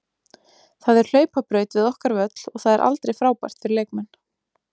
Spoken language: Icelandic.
Það er hlaupabraut við okkar völl og það er aldrei frábært fyrir leikmenn.